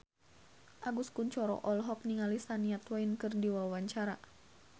Agus Kuncoro olohok ningali Shania Twain keur diwawancara